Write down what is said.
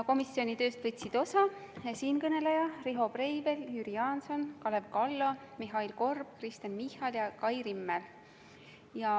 Komisjoni tööst võtsid osa siinkõneleja, Riho Breivel, Jüri Jaanson, Kalev Kallo, Mihhail Korb, Kristen Michal, Kai Rimmel.